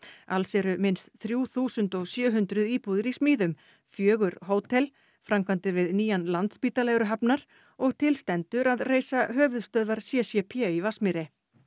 alls eru minnst þrjú þúsund og sjö hundruð íbúðir í smíðum fjögur hótel framkvæmdir við nýjan Landspítala eru hafnar og til stendur að reisa höfuðstöðvar c c p í Vatnsmýri